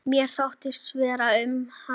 Mér þótti vænt um hana.